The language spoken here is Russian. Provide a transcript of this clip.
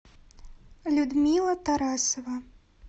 людмила тарасова